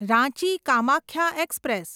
Ranchi Kamakhya express